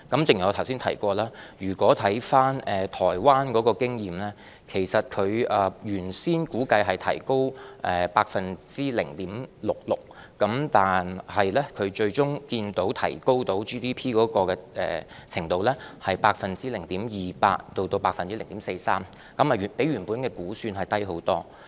正如我剛才提到，就台灣的經驗而言，其實當地政府預先估計發放消費券能提高其 GDP 0.66%， 但最終可見 GDP 提高的程度只有 0.28% 至 0.43%， 較預期估算低得多。